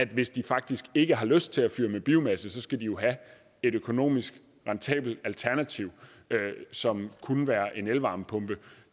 hvis de faktisk ikke har lyst til at fyre med biomasse skal de jo have et økonomisk rentabelt alternativ som kunne være en elvarmepumpe